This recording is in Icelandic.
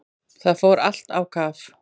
Það fór allt á kaf.